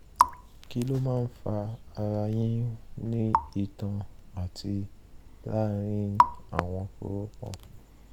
kí ló máa ń fa ara yíyún ní itan àti láàárín àwọn kórópọ̀n?